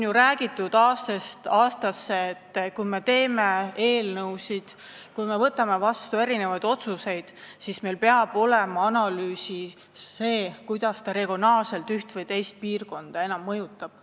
Aastast aastasse on ju räägitud, et kui me teeme eelnõusid ja võtame vastu otsuseid, siis meil peab olema analüüsides sees, kuidas see regionaalselt üht või teist piirkonda enam mõjutab.